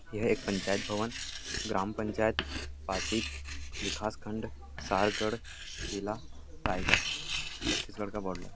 यह एक पंचायत भवन ग्राम पंचायत फ़ासिद विकासखण्ड सारगड़ जिला राइगड़ छत्तीसहगढ़ का बॉर्डर --